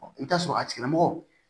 i bi t'a sɔrɔ a tigila mɔgɔ